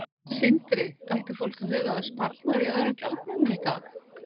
Sindri: Ætti fólk að huga að sparnaði í öðrum gjaldmiðlum í dag?